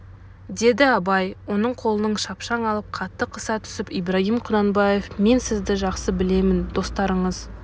деді абай оның қолын шапшаң алып қатты қыса түсіп ибрагим кұнанбаев мен сізді жақсы білемін достарыңыз